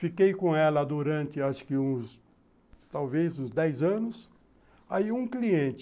Fiquei com ela durante acho que uns, talvez uns dez anos, aí um cliente,